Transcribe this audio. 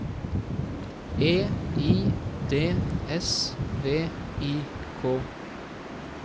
E I D S V I K